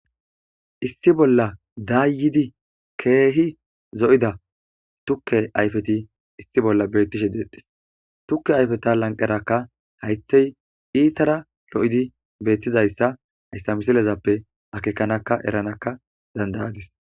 Issi bolla dayidi kehi zo'ida tuke ayifeti issi bolla betishe detes tuke ayifeta lanqeraka hayithe itara lo'izi betizayisa hayisa misilezappe akekanaka eranaka dandayadis